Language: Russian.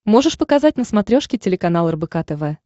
можешь показать на смотрешке телеканал рбк тв